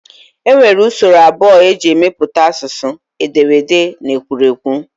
E nwere usoro abụọ e si emepụta asụsụ, ederede na ekwuruekwu